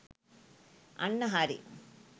අන්න හරි.